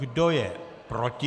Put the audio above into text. Kdo je proti?